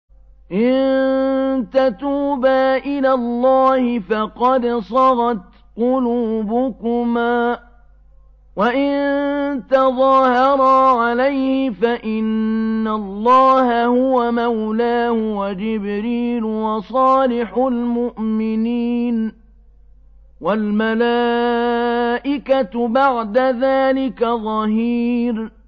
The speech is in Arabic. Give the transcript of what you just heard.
إِن تَتُوبَا إِلَى اللَّهِ فَقَدْ صَغَتْ قُلُوبُكُمَا ۖ وَإِن تَظَاهَرَا عَلَيْهِ فَإِنَّ اللَّهَ هُوَ مَوْلَاهُ وَجِبْرِيلُ وَصَالِحُ الْمُؤْمِنِينَ ۖ وَالْمَلَائِكَةُ بَعْدَ ذَٰلِكَ ظَهِيرٌ